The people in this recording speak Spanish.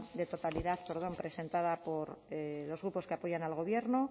de totalidad perdón presentada por los grupos que apoyan al gobierno